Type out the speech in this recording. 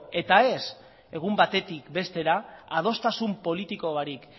eta ez egun batetik bestera eta adostasun politiko barik